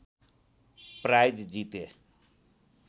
price जिते